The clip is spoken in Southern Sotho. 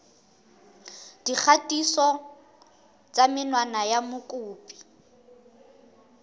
dikgatiso tsa menwana ya mokopi